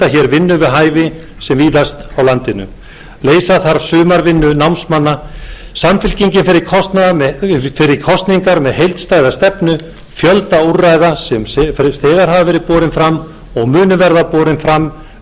vinnu við hæfi sem víðast á landinu reisa þarf sumarvinnu námsmanna samfylkingin fer í kosningar með heildstæða stefnu fjölda úrræða sem þegar hafa verið borin fram og munu verða borin fram undir traustri og ágætri stjórn